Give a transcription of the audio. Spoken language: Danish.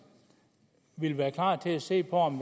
ville være klar til at se på om